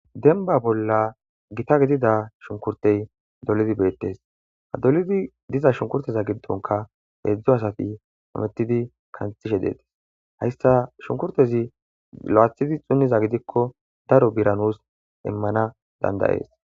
denba bolla gita gidida shunkurtey dolidi beettes hadolidi diza shunkurteza giddonka heedzdzo asati amettidi kantishe deetes heyssa shunkurtezi lo7athidi xunniza gidikko daro biranus immana dandayees